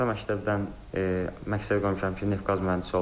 Orta məktəbdən məqsəd qoymuşam ki, neft-qaz mühəndisi olum.